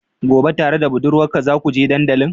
Gobe tare da budurwarka zakuje dandalin?